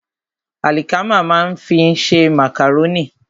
Àlìkámà ní a fi ń ṣe màkàrónì.